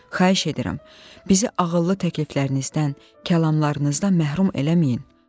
Xahiş edirəm, bizi ağıllı təkliflərinizdən, kəlamlarınızdan məhrum eləməyin.